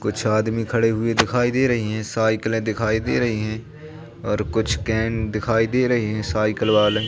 कुछ आदमी खड़े हुए दिखाई दे रही है साइकले दिखाई दे रही हैं और कुछ कैन दिखाई दे रही है साइकल वाले--